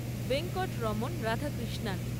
Venkat Raman Radhakrishnan